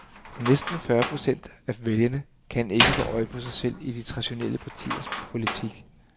Næsten fyrre procent af vælgerne kan ikke få øje på sig selv i de traditionelle partiers politik.